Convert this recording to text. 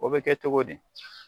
O bɛ kɛ cogo di.